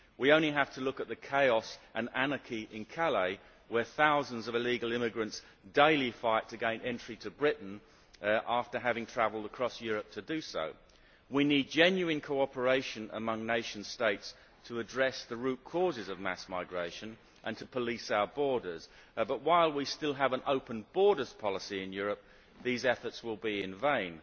We only have to look at the chaos and anarchy in Calais where thousands of illegal immigrants daily fight to gain entry to Britain after having travelled across Europe to do so. We need genuine cooperation among nation states to address the root causes of mass migration and to police our borders, but while we still have an open borders policy in Europe these efforts will be in vain.